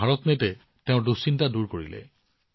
কিন্তু ভাৰতনেটে তেওঁৰ উদ্বেগ হ্ৰাস কৰিছিল